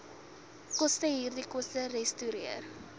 kostehierdie koste resorteer